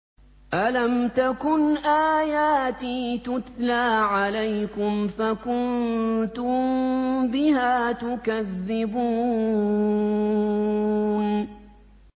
أَلَمْ تَكُنْ آيَاتِي تُتْلَىٰ عَلَيْكُمْ فَكُنتُم بِهَا تُكَذِّبُونَ